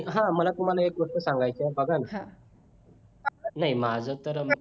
हा मला तुम्हाला एक गोष्ट सांगायची आहे बघा ना नाही माझं तर